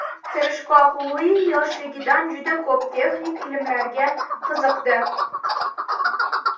Tirishqoq Lui yoshligidan juda ko‘p texnik ilmlarga qiziqdi.